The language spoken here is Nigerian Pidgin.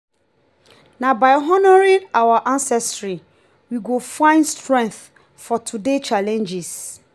na by honoring our ancestry we go find strength for today’s challenges.